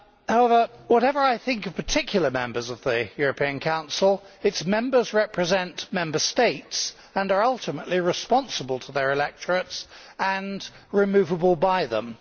However, whatever I think of particular members of the European Council, its members represent Member States and are ultimately responsible to their electorates and removable by them.